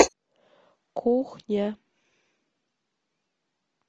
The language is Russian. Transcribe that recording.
кухня